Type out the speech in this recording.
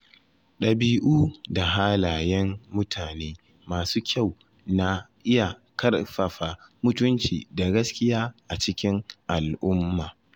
Dabi’u da halayen mutane masu kyau na iya ƙarfafa mutunci da gaskiya a cikin al’umma.